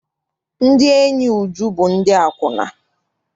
Ndị enyi Uju bụ ndị akwụna.